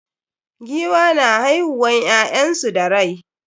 Giwa na haihiuwan ƴyansu da rai.